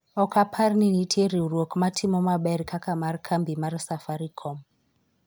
ok apar ni nitie riwruok ma timo maber kaka mar kambi mar safarikom